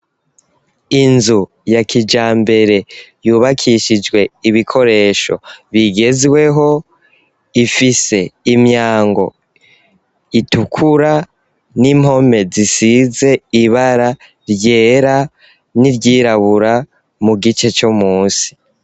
Inzu ya kijambere, yubakishijwe ibikoresho bigezweho, ifise imyango itukura, n'impome zisize ibara ryera n'iryirabura, mu gice co munsi.